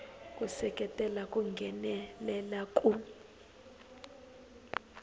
ku seketela ku nghenelela ku